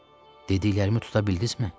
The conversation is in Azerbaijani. Dediklərimi tuta bildizmi?